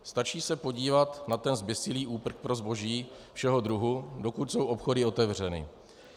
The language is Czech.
Stačí se podívat na ten zběsilý úprk pro zboží všeho druhu, dokud jsou obchody otevřeny.